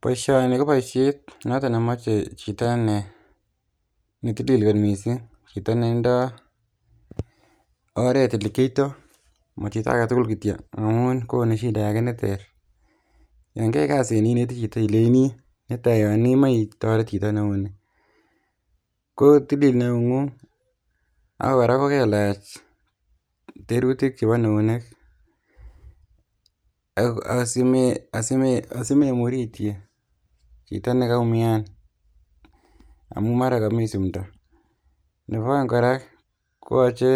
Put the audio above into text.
Boisioni ko boisiet noton nemoche chito ne netilil kot missing, chito nendoo oret elekiotoo mo chito aketugul kityo amun konu shida ake neter yan kioe kasit ni inetii chito ileinii netai yon imoche itoret chito neunii kotilil neungung ak kora kokelach terutik chebo neunek ak asime asime asimemurityi chito nekaumian amun mara komii simdo nebo oeng kora kooche